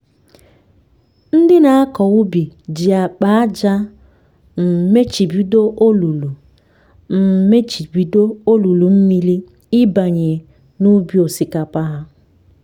ndị nakọ ubi ji akpa ájá um mechibido olulu um mechibido olulu mmiri ịbanye n'ubi osikapa ha